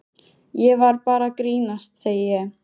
Ég var bara að grínast, segi ég.